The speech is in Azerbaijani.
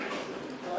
Ağa, buyur.